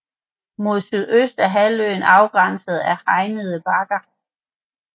Mod sydøst er halvøen afgrænset af Hegnede Bakke